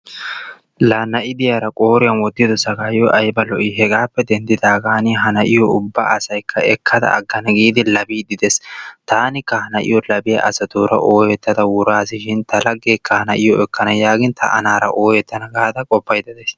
Laa na'i de'iyaara qooriyan wottiddo saggaayoy ayba lo"i! Hegappe denddidaagan ha na'iyo ubba asaykka ekkada agana giidi labiidi dee's, taanikka taanikka ha na'iyo labiya asatuura oyeetada wuraassishin ta lagekka ha na'iyo ekkana giin ta anaara oyettana gaada qoppayda days.